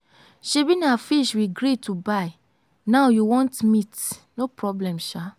shebi na fish we gree to buy now you want meat. no problem shaa.